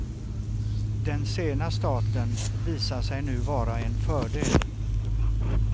Den sena starten visar sig nu vara en fördel.